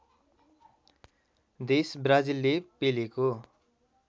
देश ब्राजिलले पेलेको